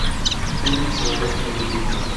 фильм человек невидимка